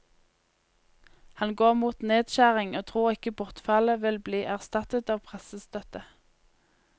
Han går mot nedskjæring og tror ikke bortfallet vil bli erstattet av pressestøtte.